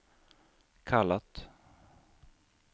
kallat